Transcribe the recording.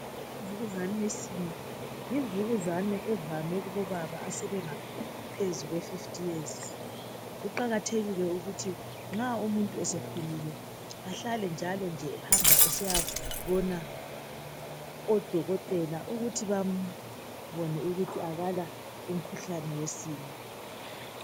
Imvukuzane yesinye ,yimvukuzane evame kubobaba asebengaphezu kwe 50 years .Kuqakathekile ukuthi .Nxa umuntu esekhulile ahlale njalonje ehamba esiyabona odokotela ukuthi bambone ukuthi akala umkhuhlane wesinye .